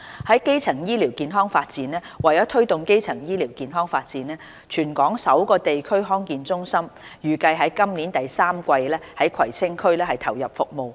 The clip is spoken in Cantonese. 在基層醫療發展方面，為推動基層醫療發展，全港首個地區康健中心，預計今年第三季在葵青區投入服務。